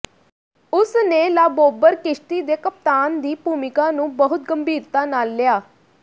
ਉਸ ਨੇ ਲਾਬੋਬਰ ਕਿਸ਼ਤੀ ਦੇ ਕਪਤਾਨ ਦੀ ਭੂਮਿਕਾ ਨੂੰ ਬਹੁਤ ਗੰਭੀਰਤਾ ਨਾਲ ਲਿਆ